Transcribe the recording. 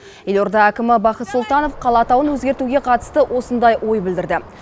елорда әкімі бақыт сұлтанов қала атауын өзгертуге қатысты осындай ой білдірді